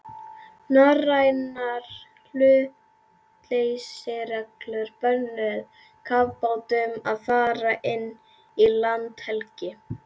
Norrænar hlutleysisreglur bönnuðu kafbátum að fara inn í landhelgi